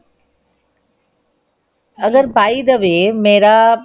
ਅਗਰ by the way ਮੇਰਾ